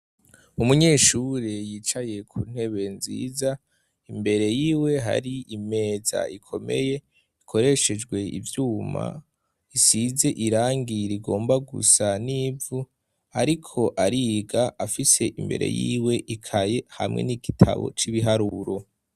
Umunyeshuri yicaye ku ntebe nziza imbere yiwe hari imeza ikomeye ikoreshejwe ivyuma isize irangira igomba gusa n'ivu, ariko ariga afise imbere yiwe ikaye hamwe n'igitabo c'ibiharuro.